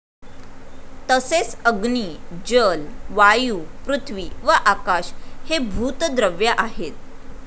तसेच अग्नि, जल, वायु, पृथ्वी व आकाश हे भूत द्रव्य आहेत.